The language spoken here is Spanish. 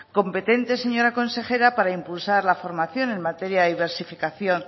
competentes señora consejera para impulsar la formación en materia de diversificación